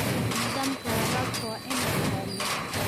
Nidaamka waraabka waa in la ilaaliyaa.